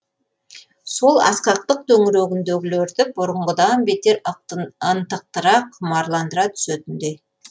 сол асқақтық төңірегіндегілерді бұрынғыдан бетер ынтықтыра құмарландыра түсетіндей